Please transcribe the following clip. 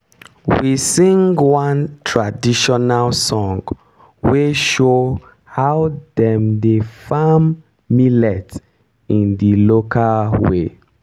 we sing one traditional song wey show how dem dey farm millet in the local way